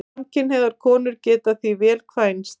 Samkynhneigðar konur geta því vel kvænst.